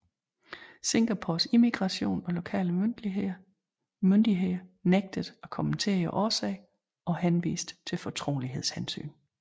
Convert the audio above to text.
Singapores immigration og lokale myndigheder nægtede at kommentere årsagen og henviste til fortrolighedshensyn